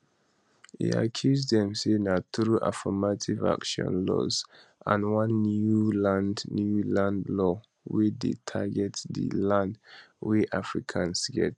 e accuse dem say na through affirmative action laws and one new land new land law wey dey target di land wey afrikaners get